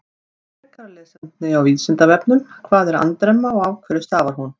Frekara lesefni á Vísindavefnum: Hvað er andremma og af hverju stafar hún?